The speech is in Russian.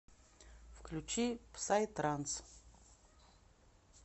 включи псай транс